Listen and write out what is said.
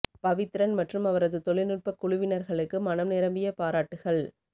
பவித்ரன் மற்றும் அவரது தொழில்நுட்ப குழுவினர்களுக்கு மனம் நிரம்பிய பாராட்டுகள்